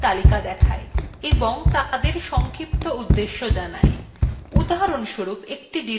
উদাহরণস্বরূপ একটি directory তৈরি করার সঠিক command আমরা নাও জানতে পারি